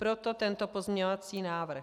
Proto tento pozměňovací návrh.